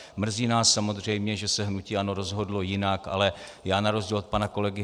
Mrzí nás samozřejmě, že se hnutí ANO rozhodlo jinak, ale já na rozdíl od pana kolegy